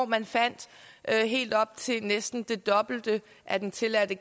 man fandt helt op til næsten det dobbelte af den tilladte